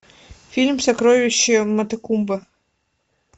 фильм сокровище матекумбе